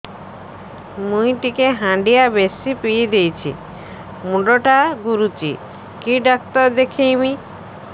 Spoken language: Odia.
ମୁଇ ଟିକେ ହାଣ୍ଡିଆ ବେଶି ପିଇ ଦେଇଛି ମୁଣ୍ଡ ଟା ଘୁରୁଚି କି ଡାକ୍ତର ଦେଖେଇମି